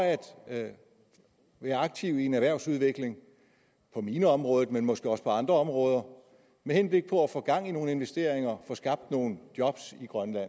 at være aktiv i en erhvervsudvikling på mineområdet men måske også på andre områder med henblik på at få gang i nogle investeringer og få skabt nogle job i grønland